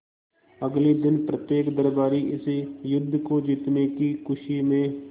अगले दिन प्रत्येक दरबारी इस युद्ध को जीतने की खुशी में